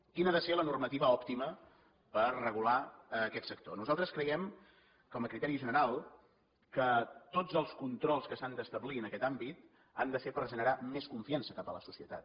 quina ha de ser la normativa òptima per regular aquest sector nosaltres creiem com a criteri general que tots els controls que s’han d’establir en aquest àmbit han de ser per generar més confiança cap a la societat